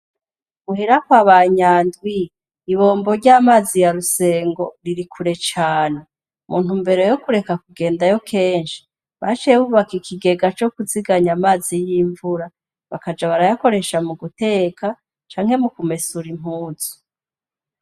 Muhira kwaba NYANDWI ibombo ry'amazi yarusengo riri kure cane intumbero yokureka yokugendayo kenshi baciye bubaka ikigega cokunziganya amazi y'imvura bakaja barayakoresha mu guteka canke mukumesera impunzu.